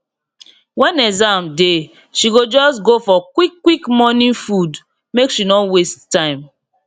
when exam dey she go just go for quick quick morning food make she no waste time